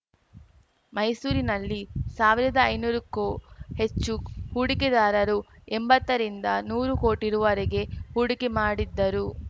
ಮೈಸೂರಿನಲ್ಲಿ ಸಾವಿರದ ಐನೂರಕ್ಕೂ ಹೆಚ್ಚು ಹೂಡಿಕೆದಾರರು ಎಂಬತ್ತರಿಂದ ನೂರು ಕೋಟಿ ರುವರೆಗೆ ಹೂಡಿಕೆ ಮಾಡಿದ್ದರು